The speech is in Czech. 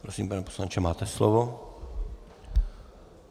Prosím, pane poslanče, máte slovo.